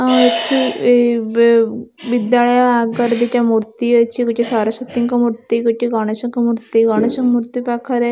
ଅ ଏଠି ଏଇ ବେ ବିଦ୍ୟାଳୟ ଆଗରେ ଦିଟା ମୂର୍ତ୍ତି ଅଛି ଗୋଟେ ସରସ୍ଵତୀଙ୍କ ମୂର୍ତ୍ତି ଗୋଟେ ଗଣେଶଙ୍କ ମୂର୍ତ୍ତି ଗଣେଶ ମୂର୍ତ୍ତି ପାଖରେ--